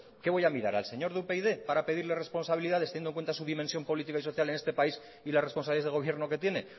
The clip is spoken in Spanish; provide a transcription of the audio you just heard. qué voy a mirar al señor de upyd para pedirle responsabilidades teniendo en cuenta su dimensión política y social en este país y las responsabilidades de gobierno que tiene